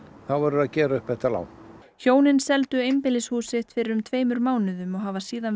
þá verður að gera upp þetta lán hjónin seldu einbýlishús sitt fyrir um tveimur mánuðum og hafa síðan